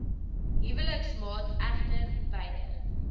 huweliksmaat egter weier